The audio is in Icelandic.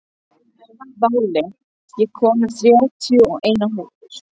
Váli, ég kom með þrjátíu og eina húfur!